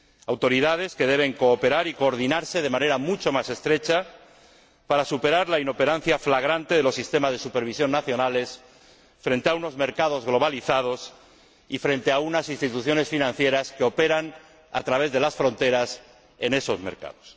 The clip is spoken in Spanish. autoridades que deben cooperar y coordinarse de manera mucho más estrecha para superar la inoperancia flagrante de los sistemas de supervisión nacionales frente a unos mercados globalizados y frente a unas instituciones financieras que operan a través de las fronteras en esos mercados.